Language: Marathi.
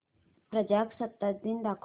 प्रजासत्ताक दिन दाखव